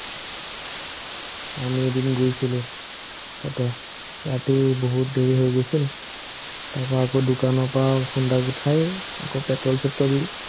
আমি এদিন গৈছিলো, তাতে, ৰাতি বহুত দেৰি হৈ গৈছিল, তাৰপৰা আকৌ দোকানৰপৰা সোনদাক উঠাই, আকৌ পেট্ৰোল-চেট্ৰোল